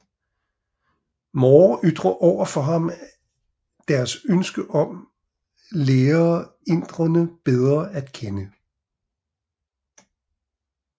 Moore ytrer over for ham deres ønske om lære inderne bedre at kende